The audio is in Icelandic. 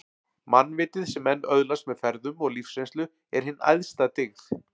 Mannvitið, sem menn öðlast með ferðum og lífsreynslu, er hin æðsta dyggð